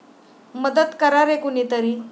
मदत करा रे कुणीतरी